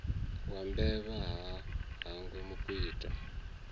wa mbevha ha hangwi mukwita